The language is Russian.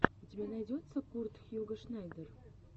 у тебя найдется курт хьюго шнайдер